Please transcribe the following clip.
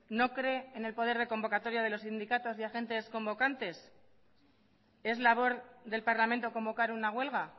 no cree en el poder de convocatoria de los sindicatos y agentes convocantes es labor del parlamento convocar una huelga